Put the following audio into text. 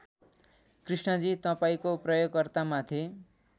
कृष्णजी तपाईँको प्रयोगकर्ता माथि